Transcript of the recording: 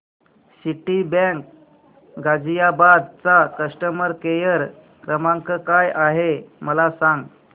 Citibank Ghaziabad चा customer care क्रमांक काय आहे मला सांग